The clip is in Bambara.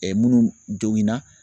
munnu joginan